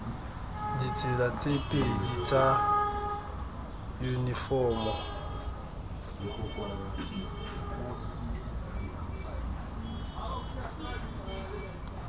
ditsela tse pedi tsa yunifomo